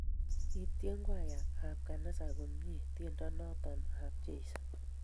Kityen kwaya ab kanisa komnye tiendo noto ab Jeso